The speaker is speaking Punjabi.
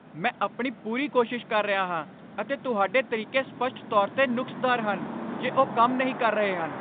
ਮੈਂ ਆਪਣੀ ਪੂਰੀ ਕੋਸ਼ਿਸ਼ ਕਰ ਰਿਹਾ ਹਾਂ, ਅਤੇ ਤੁਹਾਡੇ ਤਰੀਕੇ ਸਪੱਸ਼ਟ ਤੌਰ 'ਤੇ ਨੁਕਸਦਾਰ ਹਨ ਜੇ ਉਹ ਕੰਮ ਨਹੀਂ ਕਰ ਰਹੇ ਹਨ।